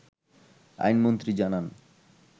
আইনমন্ত্রী জানান